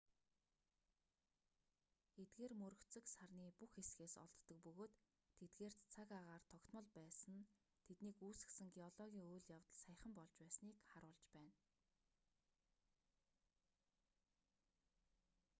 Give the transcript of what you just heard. эдгээр мөргөцөг сарны бүх хэсгээс олддог бөгөөд тэдгээрт цаг агаар тогтмол байсан нь тэднийг үүсгэсэн геологийн үйл явдал саяхан болж байсныг харуулж байна